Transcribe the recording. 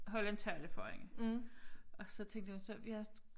Holde en tale for hende og så tænkte jeg så jeg